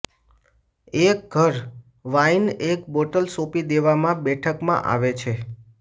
એક ઘર વાઇન એક બોટલ સોંપી દેવામાં બેઠકમાં આવે છે